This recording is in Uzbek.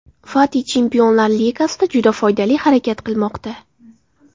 Fati Chempionlar Ligasida juda foydali harakat qilmoqda.